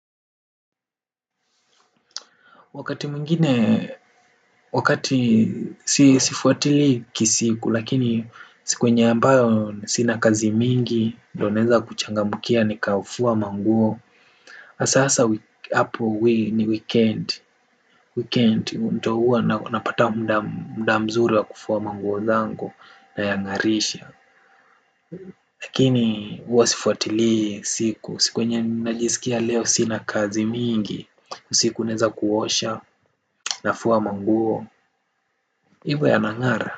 Wakati mwingine, wakati si sifuatili kisiku, lakini siku enye ambayo sina kazi mingi, ndo naeza kuchangamukia nikafua manguo, hasa hasa hapo ni weekend, weekend, ndo huwa napata muda mzuri wa kufua manguo zango na yangarisha. Lakini huwa sifuatili siku, siku yenye najisikia leo sina kazi mingi, usiku naeza kuosha nafua manguo hivo yanangara.